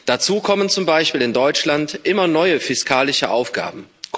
Dazu kommen zum Beispiel in Deutschland immer neue fiskalische Aufgaben.